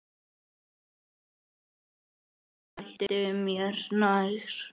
Ég hætti mér nær.